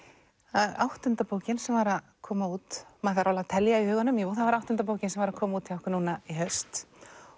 það er áttunda bókin sem var að koma út maður þarf alveg að telja í huganum jú það var áttunda bókin sem var að koma út núna í haust